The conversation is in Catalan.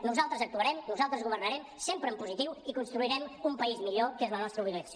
nosaltres actuarem nosaltres governarem sempre en positiu i construirem un país millor que és la nostra obligació